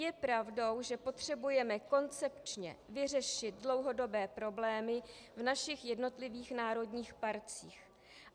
Je pravdou, že potřebujeme koncepčně vyřešit dlouhodobé problémy v našich jednotlivých národních parcích.